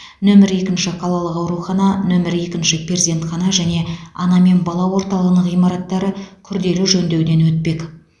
нөмірі екінші қалалық аурухана нөмірі екінші перзентхана және ана мен бала орталығының ғимараттары күрделі жөндеуден өтпек